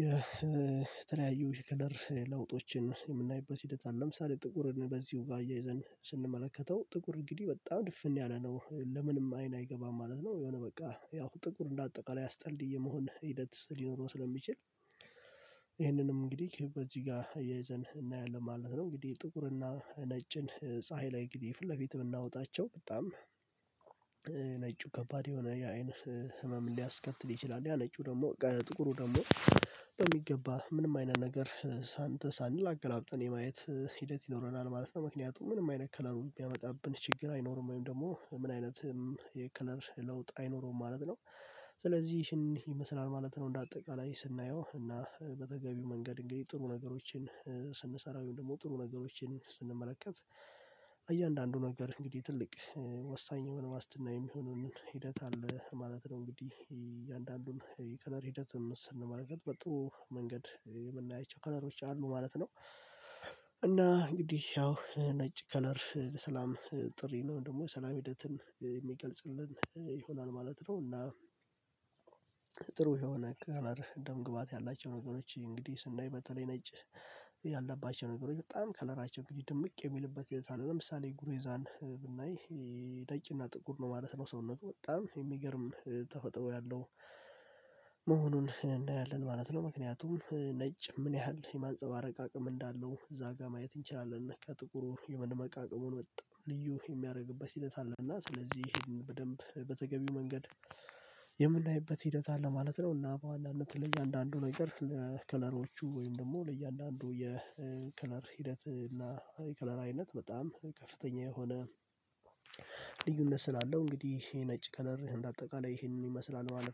የተለያዩ የከለር ለውጦችን የምናይበት ሂደት አለ ለምሳሌ ጥቁርን በዚሁ ጋር አያይዘን ስንመለከተው ጥቁር እንግዲህ በጣም ድፍን ያለ ነው ለምንም አይን አይገባም ማለት ነው የሆነ በቃ ያው ጥቁር እንደ አጠቃላይ አስጠሊ የመሆን ሂደት ሊኖረው ስለሚችል ይሄንንም እንግዲህ በዚህ ጋር እየዘን እናያለን ማለት ነው እንግዲህ ጥቁርና ነጭን ፀሀይ ላይ እንግዲህ ፊት ለፊት ብናወጣቸው በጣም ነጩ ከባድ የሆነ የአይን ህመም ሊያስከትል ይችላል ያ ነጩ ደግሞ ጥቁሩ ደግሞ በሚገባ ምንም አይነት ነገር ሳንተ ሳንል አገላብጠን የማየት ሂደት ይኖረናል ማለት ነው ምክንያቱም ምንም አይነት ከለሩ የሚያመጣብን ችግር አይኖርም ወይም ደግሞ ምን አይነት የከለር ለውጥ አይኖርም ማለት ነው ስለዚህ ይሄን ይመስላል ማለት ነው እንደ አጠቃላይ ስናየው እና በተገቢው መንገድ እንግዲህ ጥሩ ነገሮችን ስንሰራ ወይም ደግሞ ጥሩ ነገሮችን ስንመለከት እያንዳንዱ ነገር እንግዲህ ትልቅ ወሳኝ የሆነ ዎስትና የሚሆነውን ሂደት አለ ማለት ነው እንግዲህ እያንዳንዱን የከለር ሂደትም ስንመለከት በጥሩ መንገድ የምናይቸው ከለሮች አሉ ማለት ነው እና እንግዲህ ያው ነጭ ከለር የሰላም ጥሪ ነው ወይም ደግሞ ሰላም ሂደትን የሚገልጽልን ይሆናል ማለት ነው እና ጥሩ የሆነ ከለር ደም ግባት ያላቸው ነገሮች እንግዲህ ስናይ በተለይ ነጭ ያለባቸው ነገሮች በጣም ከለራቸው እንግዲህ ድምቅ የሚልበት የትአል ለምሳሌ ጉሬዛን ብናይ ይሄ ነጭና ጥቁር ነው ማለት ነው ሰውነቱ በጣም የሚገርም ተፈጥሮ ያለው መሆኑን እናያለን ማለት ነው ምክንያቱም ነጭ ምን ያህል የማንፀባረቅ አቅም እንዳለው እዛ ጋር ማየት እንችላለን ከጥቁሩ የመደመቃቀሙን በጣም ልዩ የሚያደርግበት ሂደት አለ እና ስለዚህ ይሄን በደንብ በተገቢው መንገድ የምናይበት ሂደት አለ ማለት ነው እና በዎናነት ለእያንዳንዱ ነገር ለከለሮቹ ወይም ደግሞ ለእያንዳንዱ የከለር ሂደት እና የከለር አይነት በጣም ከፍተኛ የሆነ ልዩነት ስላለው እንግዲህ ይሄ ነጭ ከለር እንደ አጠቃላይ ይሄንን ይመስላል ማለት ነው